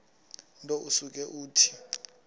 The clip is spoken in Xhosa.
nto usuke uthi